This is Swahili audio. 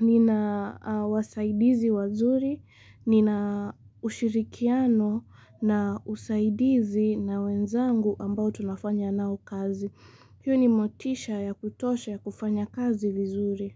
nina wasaidizi wazuri, nina ushirikiano na usaidizi na wenzangu ambao tunafanya nao kazi. Hiyo ni motisha ya kutosha ya kufanya kazi vizuri.